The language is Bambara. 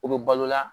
O bɛ balo la